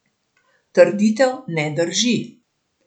Trditev ne drži.